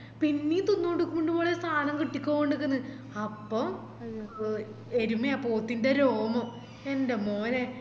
പിന്നെയും തിന്നോണ്ടിക്കുണ്ട് മോളെ സാനം കിട്ടിക്കൊണ്ട് നിക്കന്ന് അപ്പൊ എരുമയോ പോത്തിൻറെ രോമം എൻ്റെ മോനെ